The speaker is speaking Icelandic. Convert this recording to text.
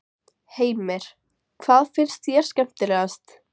Heimir: Hvað finnst þér skemmtilegast?